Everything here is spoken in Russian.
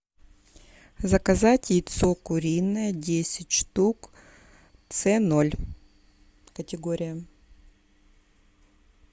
заказать яйцо куриное десять штук ц ноль категория